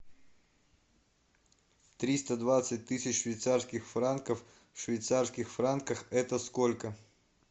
триста двадцать тысяч швейцарских франков в швейцарских франках это сколько